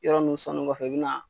Yɔrɔ nun sɔnni kɔfɛ i bɛna